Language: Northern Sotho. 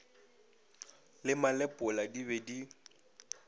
le malepola di be di